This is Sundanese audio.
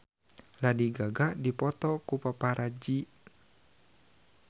Lady Gaga dipoto ku paparazi